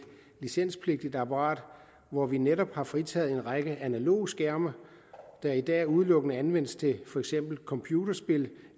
licenspligtigt apparat hvor vi netop har fritaget en række analoge skærme der i dag udelukkende anvendes til for eksempel computerspil